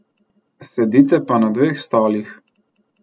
Sedite pa na dveh stolih.